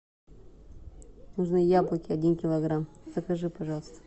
нужны яблоки один килограмм закажи пожалуйста